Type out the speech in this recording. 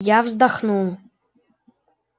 я вздохнул